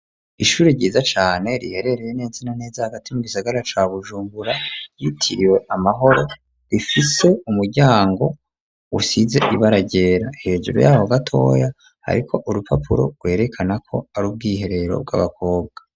Ishuri ryiza cane riherereye neza na neza hagati mu gisagara ca Bujumbura ryitiriwe Amahoro, rifise umuryango usize ibara ryera, hejuru yabo gatoya hariko urupapuro rwerekana ko ar'ubwiherero bw'abakobwa.